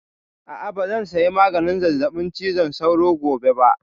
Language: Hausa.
A'a, ba zan saya maganin zazzaɓin cizon sauro gobe ba